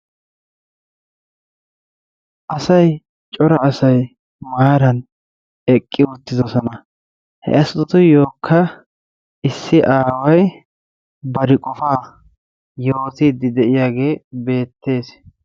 Asay cora asay maaran eqqi uttidosona. He asatuyyookka issi aaway bari qofaa yootiiddi de'iyagee beettees.